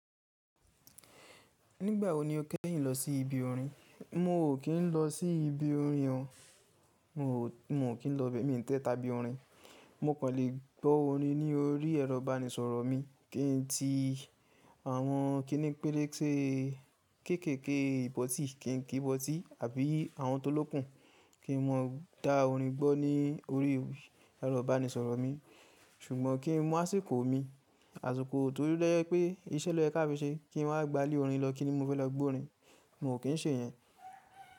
Nígbà wo ni o kẹ́yìn lọ sí ibi orin? Mi ò kín lọ sí ibi orin o. Mi ò kín lọ bẹ́, mi n tẹ tàbí orin. Mo kàn lè gbọ́ orin ní orí ẹ̀rọ ìbánisọ̀rọ̀ mi kí n ti àwọn kíní pélé te kéèké íbọ̀tì, kín kí ìbọ̀tì àbí àwọn tó lókun kí n mọ dá orin gbọ́ ní orí ẹ̀rọ ìbánisọ̀rọ̀ mi. Ṣùgbọ́n kín mú àsìkò mi, àsìkò tó jẹ pé iṣẹ́ ló yẹ ká fi ṣe kí n wá gba íle orin lọ kíni mo fẹ́ lọ gbọ́ orin. Mo kín ṣe yẹn.